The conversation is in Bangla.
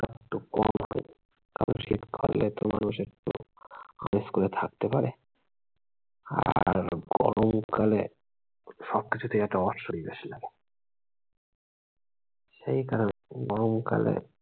কারণ শিক্ষা দিয়ে তো মানুষ একটু আরাম করে থাকতে পারে। আর গরমকালে সবকিছুতে একটা সেই কারণে গরমকালে-